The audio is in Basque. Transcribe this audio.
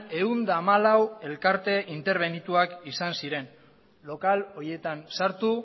ehun eta hamalau elkarte interbenituak izan ziren lokal horietan sartu